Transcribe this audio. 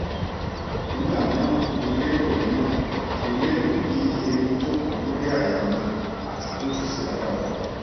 nigba miran mo lero miran mo lero bi erin joko lori àyà mi ati pe ko si agbara